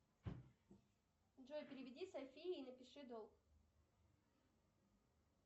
джой переведи софии и напиши долг